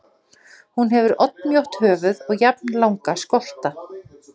Hún hefur oddmjótt höfuð og jafnlanga skolta.